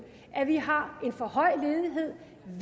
at vi har en for høj ledighed